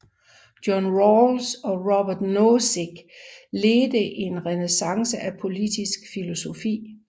John Rawls og Robert Nozick ledte en renæssance af politisk filosofi